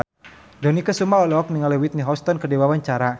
Dony Kesuma olohok ningali Whitney Houston keur diwawancara